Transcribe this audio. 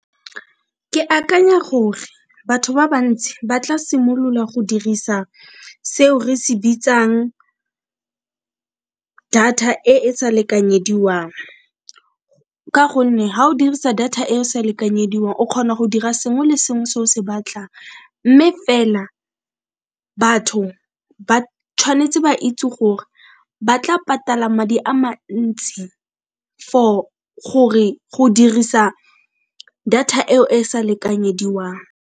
Ke akanya gore batho ba bantsi ba tla simolola go dirisa seo re se bitsang data e e sa lekanyediwang, ka gonne ga o dirisa data e esa lekanyediwang o kgona go dira sengwe le sengwe se o se batlang mme fela batho ba tshwanetse ba itse gore ba tla patala madi a mantsi for gore go dirisa data eo e sa lekanyediwang.